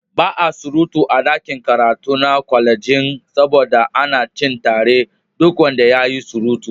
Ba a surutu a ɗakin karatu na kwalejin saboda ana cin tarar duk wanda yayi surutu.